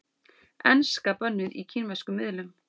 Enska bönnuð í kínverskum miðlum